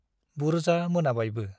बुर्जा मोनाबायबो ।